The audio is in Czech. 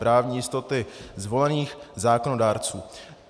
Právní jistoty zvolených zákonodárců.